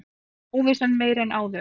Óvissan meiri en áður